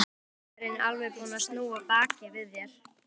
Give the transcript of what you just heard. Ekki er heimurinn alveg búinn að snúa baki við þér.